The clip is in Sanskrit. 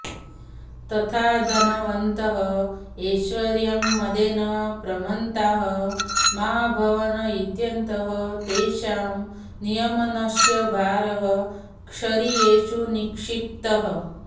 तथा धनवन्तः ऐश्वर्यमदेन प्रमत्ताः मा भूवन् इत्यतः तेषां नियमनस्य भारः क्षरियेषु निक्षिप्तः